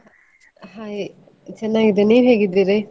Hai ಚೆನ್ನಾಗಿದ್ದೇನೆ, ನೀವ್ ಹೇಗಿದ್ದೀರಿ?